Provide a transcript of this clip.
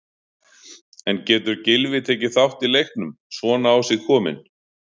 En getur Gylfi tekið þátt í leiknum, svona á sig kominn?